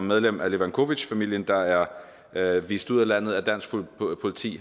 medlem af levacovic familien der er er vist ud af landet af dansk politi